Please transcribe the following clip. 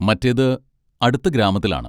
മറ്റേത് അടുത്ത ഗ്രാമത്തിലാണ്.